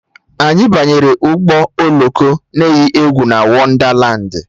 Anyị banyere ụgbọ oloko na eyi egwu na Wondalandi